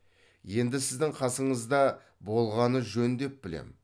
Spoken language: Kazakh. енді сіздің қасыңызда болғаны жөн деп білем